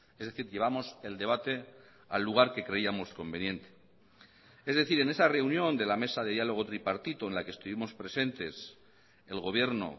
es decir llevamos el debate al lugar que creíamos conveniente es decir en esa reunión de la mesa de diálogo tripartito en la que estuvimos presentes el gobierno